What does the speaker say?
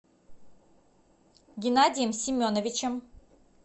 геннадием семеновичем